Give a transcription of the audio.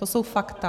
To jsou fakta.